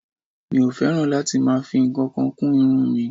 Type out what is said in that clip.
Mi ò fẹ́ràn láti máa fi ǹkankan kún irun mi